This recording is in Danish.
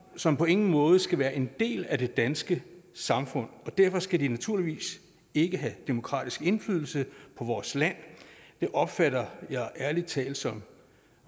som på ingen måde skal være en del af det danske samfund og derfor skal de naturligvis ikke have demokratisk indflydelse på vores land det opfatter jeg ærlig talt som